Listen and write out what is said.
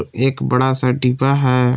एक बड़ा सा डिब्बा है।